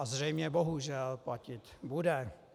A zřejmě, bohužel, platit bude.